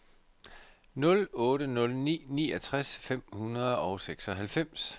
nul otte nul ni niogtres fem hundrede og seksoghalvfems